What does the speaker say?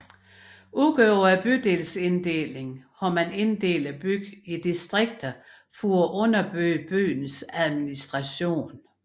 Udover bydelsinddelingen har man inddelt byen i distrikter for at underbygge byens administration